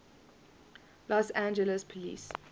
los angeles police